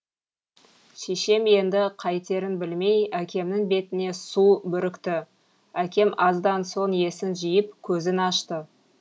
шешем енді қайтерін білмей әкемнің бетіне су бүрікті әкем аздан соң есін жиып көзін ашты